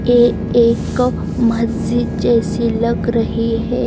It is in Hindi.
ए-एक मस्जिद जेसी लग रही है।